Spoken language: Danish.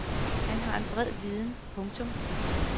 Han har en bred viden. punktum